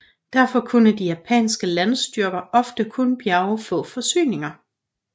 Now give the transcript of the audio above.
Derfor kunne de japanske landstyrker ofte kun bjerge få forsyninger